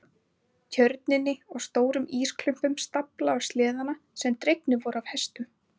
Tjörninni og stórum ísklumpunum staflað á sleðana sem dregnir voru af hestum.